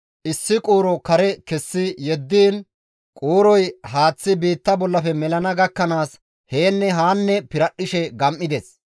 issi quuro kare kessi yeddiin quurozi haaththi biitta bollafe melana gakkanaas yaanne haa piradhdhishe gam7ides.